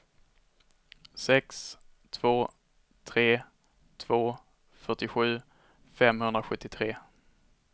sex två tre två fyrtiosju femhundrasjuttiotre